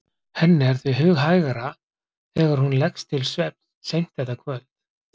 Henni er því hughægra þegar hún leggst til svefns seint þetta kvöld